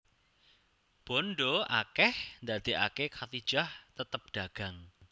Bandha akeh ndadekake Khadijah tetep dagang